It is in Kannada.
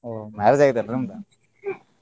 ಓಹೋ marriage ಆಗೇತಿ ಏನ್ರೀ ನಿಮ್ದ? .